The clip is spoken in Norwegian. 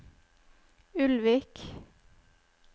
Ulvik